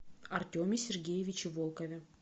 артеме сергеевиче волкове